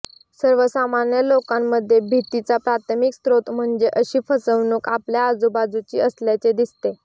सर्वसामान्य लोकांमध्ये भीतीचा प्राथमिक स्त्रोत म्हणजे अशी फसवणूक आपल्या आजूबाजूची असल्याचे दिसते